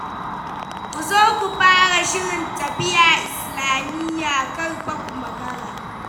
Ku zo ku fara shirin tafiya Islamiyya, kar fa ku makara.